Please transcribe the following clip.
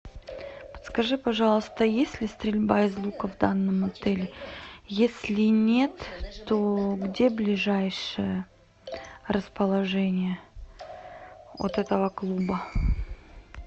подскажи пожалуйста есть ли стрельба из лука в данном отеле если нет то где ближайшее расположение от этого клуба